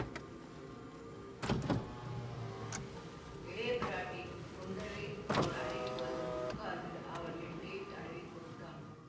இளைய பிராட்டி குந்தவை அவன் அருகில் வந்து உட்கார்ந்து அவன் நெற்றியைத் தடவிக் கொடுத்தாள்